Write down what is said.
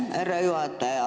Aitäh, härra juhataja!